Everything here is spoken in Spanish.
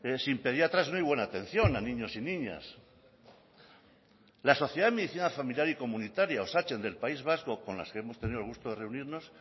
sin pediatras no hay buena atención a niños y niñas la sociedad de medicina familiar y comunitaria osatzen del país vasco con la que hemos tenido el gusto de reunirnos